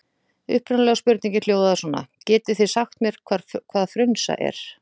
Upprunalega spurningin hljóðaði svona: Getið þig sagt mér hvað frunsa er?